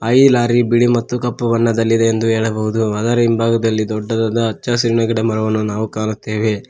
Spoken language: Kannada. ಐದ್ ಲಾರಿ ಬಿಳಿ ಮತ್ತು ಕಪ್ಪು ಬಣ್ಣದಲ್ಲಿದೆ ಎಂದು ಹೇಳಬಹುದು ಅದರ ಹಿಂಭಾಗದಲ್ಲಿ ದೊಡ್ಡದಾದ ಹಚ್ಚ ಹಸಿರಾದ ಗಿಡಮರವನ್ನು ನಾವು ಕಾಣುತ್ತೇವೆ.